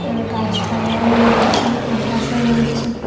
গাছপালাও রয়েছে আকাশও রয়েছে।